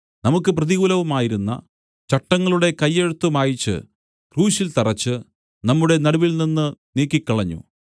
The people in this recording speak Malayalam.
നമുക്ക് പ്രതികൂലവുമായിരുന്ന ചട്ടങ്ങളുടെ കയ്യെഴുത്ത് മായിച്ച് ക്രൂശിൽ തറച്ച് നമ്മുടെ നടുവിൽനിന്ന് നീക്കിക്കളഞ്ഞു